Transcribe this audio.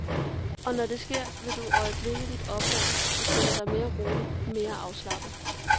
Og når det sker, vil du øjeblikke opdage, at du føler dig mere rolig, mere afslappet.